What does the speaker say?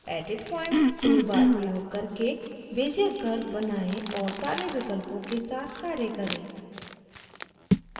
edit points toolbar प्रयोग करके bezier curve बनाएं और सारे विकल्पों के साथ कार्य करें